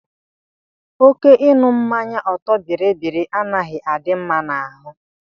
Oké ịṅụ mmanya ọtọ biribiri anaghị adị mma n'ahụ.